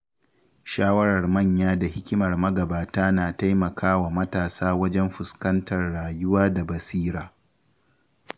Shawarar manya da hikimar magabata na taimakawa matasa wajen fuskantar rayuwa da basira.